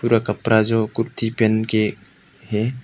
पूरा कपड़ा जो कुर्ती पहन के है।